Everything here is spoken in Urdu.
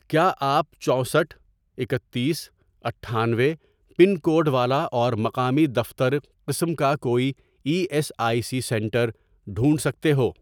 کیا آپ چوسٹھ ،اکتیس، اٹھانوے، پن کوڈ والا اور مقامی دفتر قسم کا کوئی E S I C centre ڈھونڈ سکتے ہو؟